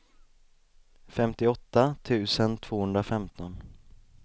femtioåtta tusen tvåhundrafemton